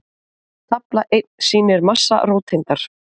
tafla einn sýnir massa róteindar